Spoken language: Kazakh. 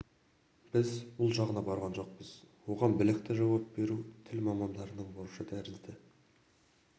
біз бұл жағына барған жоқпыз оған білікті жауап беру тіл мамандарының борышы тәрізді